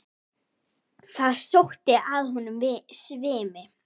Það sótti að honum svimi.